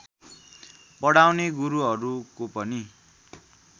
पढाउने गुरुहरुको पनि